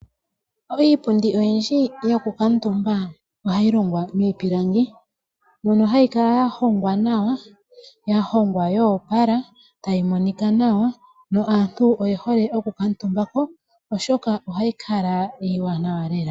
Iipundi oyindji yokukuutumba ohayi longwa miipilangi. Mono hayi kala ya hongwa nawa, ya hongwa ya opala tayi monika nawa, naantu oye hole okukuutumba ko, oshoka ohayi kala iiwanawa lela.